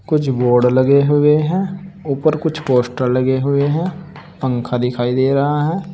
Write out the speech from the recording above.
कुछ बोर्ड लगे हुए हैं ऊपर कुछ पोस्टर लगे हुए हैं पंखा दिखाई दे रहा है।